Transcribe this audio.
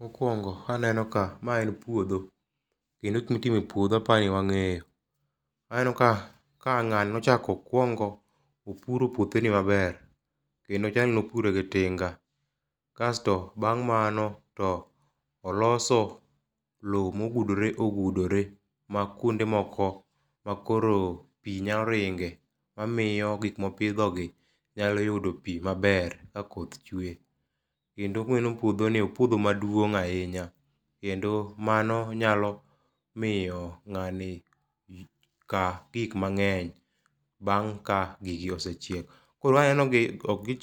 Mokwongo aneno ka ,mae en puotho, kendo gik mitimo e puodho apa ni wang'eyo . Aneno ka ng'ani nochako okwongo opuro puotheni maber, kendo chalni opure gi tinga. Kasto bang' mano, to oloso lowo mobudore obudore ma kwonde moko, to koro pi nyalo ringe mamiyo gik mopidhogi nyalo yudo pi maber, ka koth chuwe. Kendo waneno puodhoni,o puodho maduong' ahinya kendo mano nyalo miyo ng'ani kaa gik mang'eny bang' ka gigi osechiek . koro aneno gi,